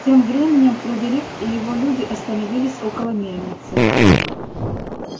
тем временем фредерик и его люди остановились около мельницы